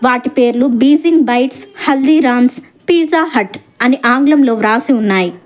వాటి పేర్లు Beijing Bites Haldiram's Pizza Hut అని ఆంగ్లంలో రాసి ఉన్నాయి.